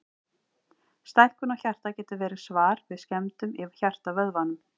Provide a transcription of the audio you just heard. Stækkun á hjarta getur verið svar við skemmdum í hjartavöðvanum.